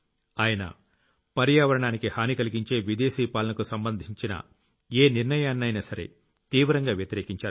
ఆయన పర్యావరణానికి హాని కలిగించే విదేశీ పాలనకు సంబంధించిన ఏ నిర్ణయాన్నైనా సరే తీవ్రంగా వ్యతిరేకించారు